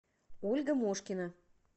ольга мошкина